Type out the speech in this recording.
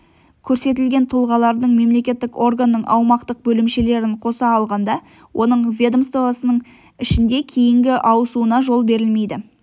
көрсетілген тұлғалардың мемлекеттік органның аумақтық бөлімшелерін қоса алғанда оның ведомствосының ішінде кейінгі ауысуына жол берілмейді